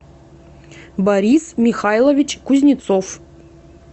борис михайлович кузнецов